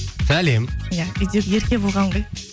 сәлем иә үйдегі ерке болған ғой